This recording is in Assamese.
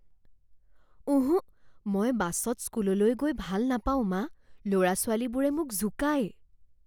ওহোঁ! মই বাছত স্কুললৈ গৈ ভাল নাপাও মা। ল'ৰা ছোৱালীবোৰে মোক জোকায়।